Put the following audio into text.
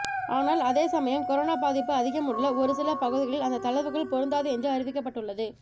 ஆனால் அதே சமயம் கொரோனா பாதிப்பு அதிகம் உள்ள ஒரு சில பகுதிகளில் அந்த தளர்வுகள் பொருந்தாது என்று அறிவிக்கப்பட்டுள்ளது